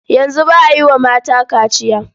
Yanzu ba a yi wa mata kaciya.